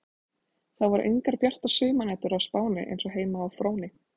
Það voru engar bjartar sumarnætur á Spáni eins og heima á Fróni.